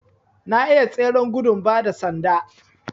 Na iya tseren gudun ba da sanda